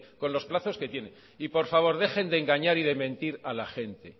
con los plazos que tiene y por favor dejen de engañar y mentir a la gente